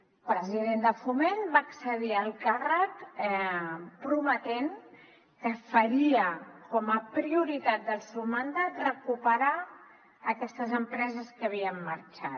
el president de foment va accedir al càrrec prometent que faria com a prioritat del seu mandat recuperar aquestes empreses que havien marxat